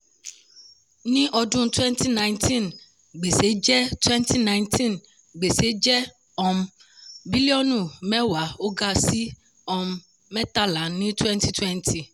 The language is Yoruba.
ní ọdún twenty nineteen gbèsè jẹ́ twenty nineteen gbèsè jẹ́ um bílíọ̀nù mẹ́wàá ó ga sí um mẹ́tàlá ní twenty twenty.